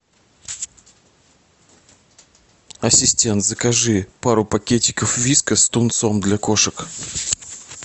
ассистент закажи пару пакетиков вискас с тунцом для кошек